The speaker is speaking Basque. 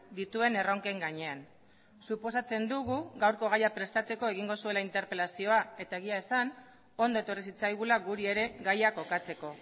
dituen erronken gainean suposatzen dugu gaurko gaia prestatzeko egingo zuela interpelazioa eta egia esan ondo etorri zitzaigula guri ere gaia kokatzeko